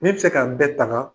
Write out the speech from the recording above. Min be se ka bɛɛ taŋaa